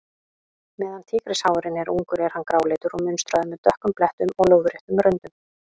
Meðan tígrisháfurinn er ungur er hann gráleitur og munstraður, með dökkum blettum og lóðréttum röndum.